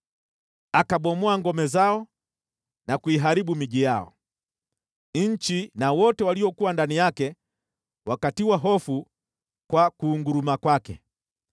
Akabomoa ngome zao na kuiharibu miji yao. Nchi na wote waliokuwa ndani yake wakatiwa hofu kwa kunguruma kwake.